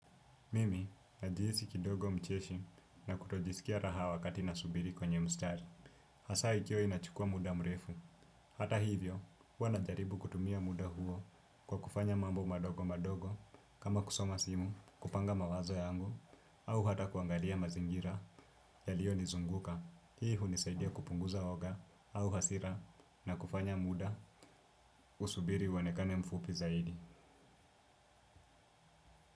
Mimi najiisi kidogo mcheshi na kutojisikia raha wakati nasubiri kwenye mstari. Hasa ikiwa inachukua muda mrefu. Hata hivyo, huwa najaribu kutumia muda huo kwa kufanya mambo madogo madogo kama kusoma simu kupanga mawazo yangu au hata kuangalia mazingira yalio nizunguka. Hii hunisaidia kupunguza woga au hasira na kufanya muda usubiri uonekane mfupi zaidi.